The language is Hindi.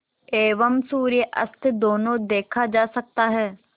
एवं सूर्यास्त दोनों देखा जा सकता है